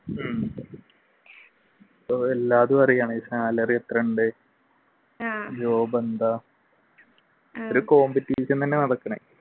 ഉം salary എത്രയുണ്ട് job എന്താ ഒരു competition തന്നെയാണ് നടക്കുന്നത്